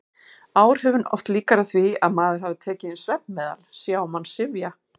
Áhrifin oft líkari því að maður hefði tekið inn svefnmeðal: sé á mann syfja.